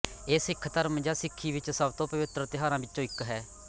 ਇਹ ਸਿੱਖ ਧਰਮ ਜਾਂ ਸਿੱਖੀ ਵਿੱਚ ਸਭ ਤੋਂ ਪਵਿੱਤਰ ਤਿਉਹਾਰਾਂ ਵਿੱਚੋਂ ਇੱਕ ਹੈ